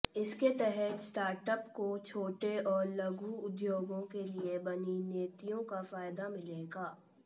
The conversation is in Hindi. इसके तहत स्टार्टअप को छोटे और लघु उद्योगों के लिए बनी नीतियों का फायदा मिलेगा